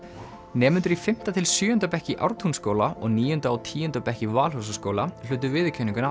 nemendur í fimmta til sjöunda bekk í Ártúnsskóla og níunda og tíunda bekk í Valhúsaskóla hlutu viðurkenninguna